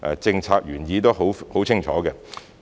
政策原意是十分清楚的。